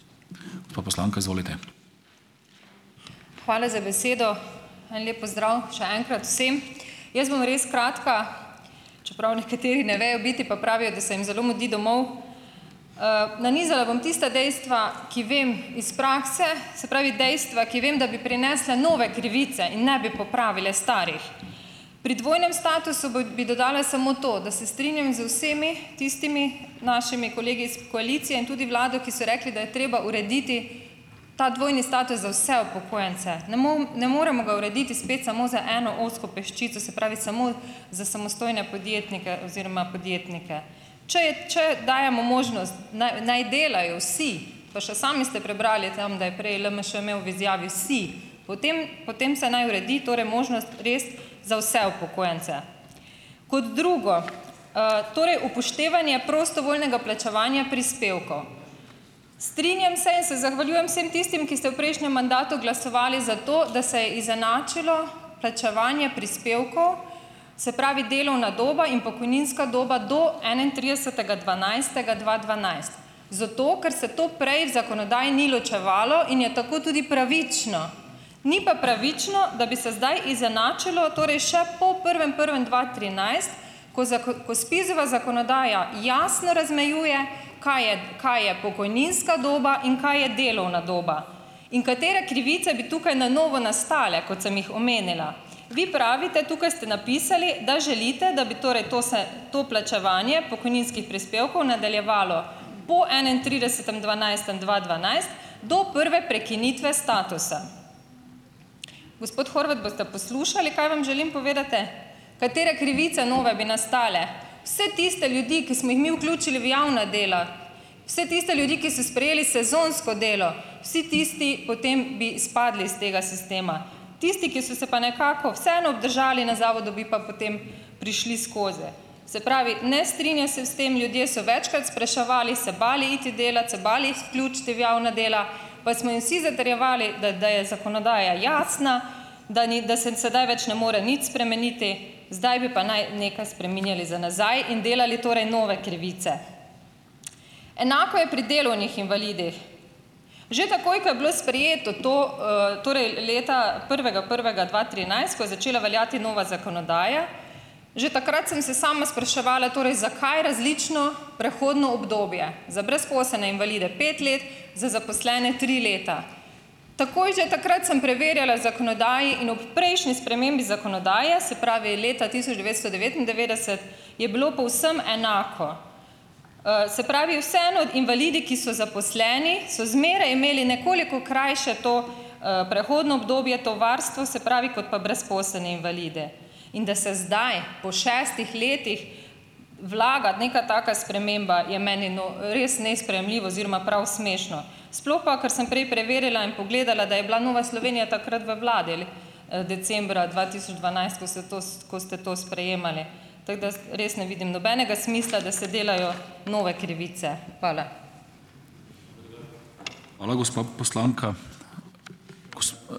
Hvala za besedo! En lep pozdrav še enkrat vsem! Jaz bom res kratka, čeprav nekateri ne vejo biti, pa pravijo, da se jim zelo mudi domov. Nanizala bom tista dejstva, ki vem iz prakse, se pravi, dejstva, ki vem, da bi prinesla nove krivice in ne bi popravila starih. Pri dvojnem statusu bi dodala samo to, da se strinjam z vsemi tistimi našimi kolegi iz koalicije in tudi vlado, ki so rekli, da je treba urediti ta dvojni status za vse upokojence. Ne ne moremo ga urediti spet samo za eno ozko peščico, se pravi samo za samostojne podjetnike oziroma podjetnike. Če je če dajemo možnost, naj naj delajo vsi, pa še sami ste prebrali tam, da je prej LMŠ imel v izjavi vsi, potem potem se naj uredi torej možnost res za vse upokojence. Kot drugo, torej upoštevanje prostovoljnega plačevanja prispevkov. Strinjam se in se zahvaljujem vsem tistim, ki ste v prejšnjem mandatu glasovali za to, da se je izenačilo plačevanje prispevkov, se pravi, delovna doba in pokojninska doba do enaintridesetega dvanajstega dva dvanajst. Zato ker se to prej v zakonodaji ni ločevalo in je tako tudi pravično. Ni pa pravično, da bi se zdaj izenačilo, torej še po prvem prvem dva trinajst, ko ko SPIZ-ova zakonodaja jasno razmejuje, kaj je kaj je pokojninska doba in kaj je delovna doba in katere krivice bi tukaj na novo nastale, kot sem jih omenila. Vi pravite, tukaj ste napisali, da želite, da bi torej to se to plačevanje pokojninskih prispevkov nadaljevalo po enaintridesetem dvanajstem dva dvanajst, do prve prekinitve statusa. Gospod Horvat, boste poslušali, kaj vam želim povedati? Katere krivice nove bi nastale. Vse tiste ljudi, ki smo jih mi vključili v javna dela, vse tiste ljudi, ki so sprejeli sezonsko delo, vsi tisti potem bi izpadli iz tega sistema. Tisti, ki so se pa nekako vseeno obdržali na zavodu, bi pa potem prišli skozi. Se pravi, ne strinjam se s tem, ljudje so večkrat spraševali, se bali iti delat, se bali vključiti v javna dela, pa smo jim vsi zatrjevali, da da je zakonodaja jasna, da ni, da se sedaj več ne more nič spremeniti, zdaj bi pa naj nekaj spreminjali za nazaj in delali torej nove krivice. Enako je pri delovnih invalidih. Že takoj, ko je bilo sprejeto to, torej leta prvega prvega dva trinajst, ko je začela veljati nova zakonodaja, že takrat sem se sama spraševala, torej zakaj različno prehodno obdobje za brezposelne invalide - pet let, za zaposlene tri leta. Takoj že takrat sem preverjala zakonodajo in ob prejšnji spremembi zakonodaje, se pravi leta tisoč devetsto devetindevetdeset, je bilo povsem enako. Se pravi vseeno invalidi, ki so zaposleni, so zmeraj imeli nekoliko krajše to, prehodno obdobje, to varstvo, se pravi, kot pa brezposelni invalidi. In da se zdaj, po šestih letih vlaga neka taka sprememba, je meni res nesprejemljivo oziroma prav smešno. Sploh pa, ker sem prej preverila in pogledala, da je bila Nova Slovenija takrat v vladi, decembra dva tisoč dvanajst, ko ste to ko ste to sprejemali, tako da res ne vidim nobenega smisla, da se delajo nove krivice. Hvala.